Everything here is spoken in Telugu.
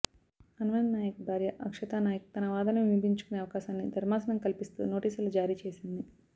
అన్వయ్ నాయక్ భార్య అక్షతా నాయక్ తన వాదనలను వినిపించుకునే అవకాశాన్ని ధర్మాసనం కల్పిస్తూ నోటీసులు జారీచేసింది